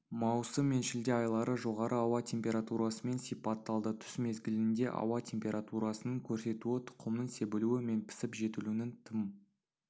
маусым мен шілде айлары жоғары ауа температурасымен сипатталды түс мезгілінде ауа температурасының көрсетуі тұқымның себілуі мен пісіп-жетілуінің тым